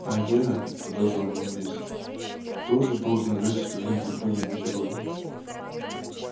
а я продолжал манлис тоже должен играть в нём какую-нибудь роль